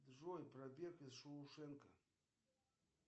джой побег из шоушенка